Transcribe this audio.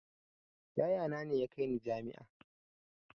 Yaya na ne ya kai ni jami'a